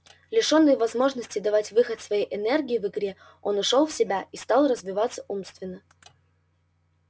лишённый возможности давать выход своей энергии в игре он ушёл в себя и стал развиваться умственно